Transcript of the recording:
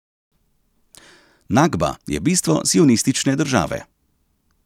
Nakba je bistvo sionistične države.